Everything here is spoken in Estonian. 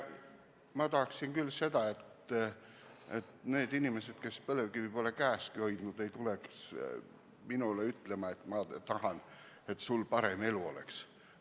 Ma tahaksin küll seda, et need inimesed, kes põlevkivi pole käeski hoidnud, ei tuleks minule ütlema, et nad tahavad, et mul parem elu oleks.